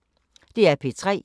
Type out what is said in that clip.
DR P3